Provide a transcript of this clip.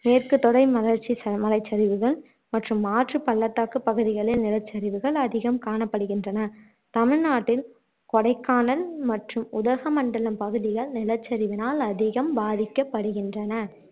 மேற்கு தொடை மலைச்சரிவுகள் மற்றும் ஆற்றுப் பள்ளத்தாக்குப் பகுதிகளில் நிலச்சரிவுகள் அதிகம் காணப்படுகின்றன தமிழ்நாட்டில் கொடைக்கானல் மற்றும் உதகமண்டலம் பகுதிகள் நிலச்சரிவினால் அதிகம் பாதிக்கப்படுகின்றன